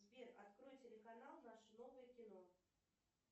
сбер открой телеканал наше новое кино